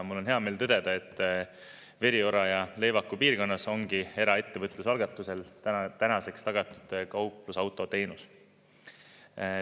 Mul on hea meel tõdeda, et Veriora ja Leevaku piirkonnas ongi eraettevõtluse algatusel täna tänaseks tagatud kauplusauto teenus.